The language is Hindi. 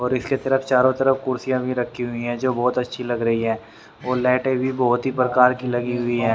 और इसके तरफ चारों तरफ कुर्सियां भी रखी हुई है जो बहोत अच्छी लग रही है और लाइटे भी बहोत ही प्रकार की लगी हुई है।